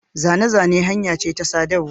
Zane-zane hanya ce ta sadarwa.